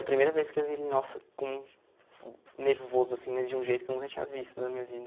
A primeira vez que eu vi ele, nossa, com... Nervoso, assim, mas de um jeito que eu nunca tinha visto na minha vida.